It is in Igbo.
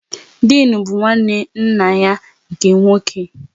Dịnụ bụ nwanne nna ya nke nwoke